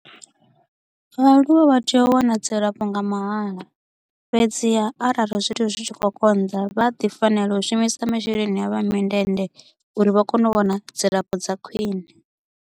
Vhaaluwa vha tea u wana dzilafho nga mahala, fhedziha arali zwithu zwi tshi kho u konḓa vha a ḓi fanela u shumisa masheleni avho a mindende uri vha kone u wana dzilafho dza khwiṋe.